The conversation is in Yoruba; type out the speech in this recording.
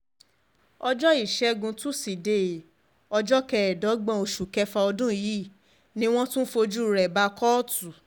ọjọ́ ìṣègùn t ọjọ́ kẹẹ̀ẹ́dọ́gbọ̀n oṣù kẹfà ọdún yìí ni wọ́n tún fojú rẹ̀ bá kóòtù